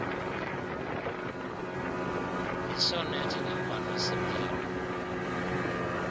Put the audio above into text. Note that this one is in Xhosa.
yisonethi ngemvano siphelo